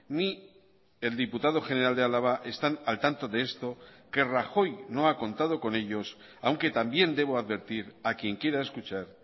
ni el diputado general de álava están al tanto de esto que rajoy no ha contado con ellos aunque también debo advertir a quien quiera escuchar